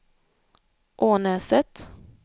Ånäset